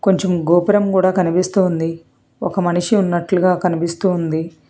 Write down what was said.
కొంచెం గోపురం గూడా కనిపిస్తుంది ఒక మనిషి ఉన్నట్లుగా కనిపిస్తుంది.